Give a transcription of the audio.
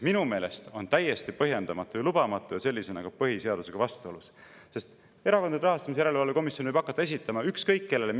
Minu meelest on see täiesti põhjendamatu ja lubamatu ja sellisena ka põhiseadusega vastuolus, sest Erakondade Rahastamise Järelevalve Komisjon võib hakata esitama mingisuguseid nõudmisi ükskõik kellele.